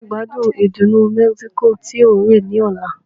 Ta ni yóò gbádùn ìdùnnú Mexico tí ó rẹ̀ ní ọ̀la?